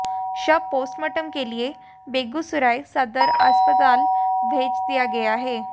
शव पोस्टमार्टम के लिए बेगूसराय सदर अस्पताल भेज दिया गया है